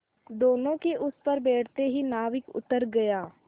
दोेनों के उस पर बैठते ही नाविक उतर गया